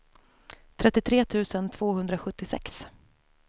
trettiotre tusen tvåhundrasjuttiosex